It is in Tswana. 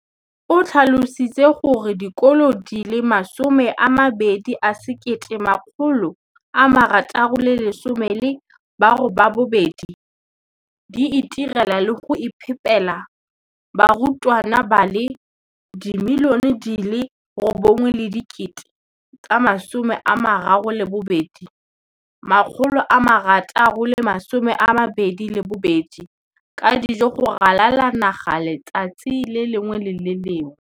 o tlhalositse gore dikolo di le 20 619 di itirela le go iphepela barutwana ba le 9 032 622 ka dijo go ralala naga letsatsi le lengwe le le lengwe.